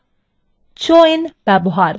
joins ব্যবহার